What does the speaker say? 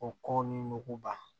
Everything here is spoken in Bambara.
O kɔ ni muguba